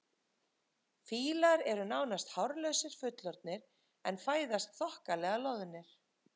Fílar eru nánast hárlausir fullorðnir en fæðast þokkalega loðnir.